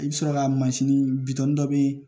I bɛ sɔrɔ ka mansin dɔ bɛ yen